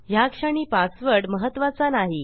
ह्याक्षणी password महत्त्वाचा नाही